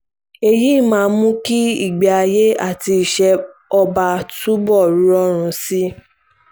èyí máa mú kí ìgbé-ayé àti iṣẹ́ ọba túbọ̀ rọrùn sí i